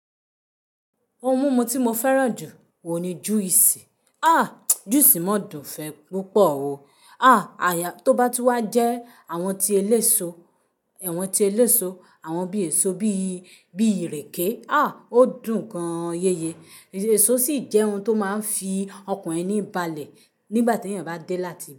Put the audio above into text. Ohun mímu tí mo fẹ́ràn jù ohùn ní juice. Ah! Juice máa dùn ún fẹ́ púpọ̀ o. Ah! Tí ó bá ti wá jẹ́ àwọn ti eléso, awọ̀n ti eléso, àwọn bí èso bí, bí ìrèké. Ah! Ó dùn gan-an yeye. Èso sì jẹ́ ohun tó máa ń fi ọkàn ẹni balẹ̀ nígbà tí ènìyàn bá dé láti ibà.